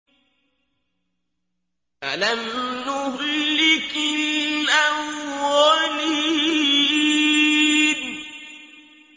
أَلَمْ نُهْلِكِ الْأَوَّلِينَ